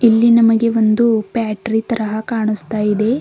ಇಲ್ಲಿ ನಮಗೆ ಒಂದು ಬ್ಯಾಟರಿ ತರ ಕಾಣುಸ್ತಾ ಇದೆ.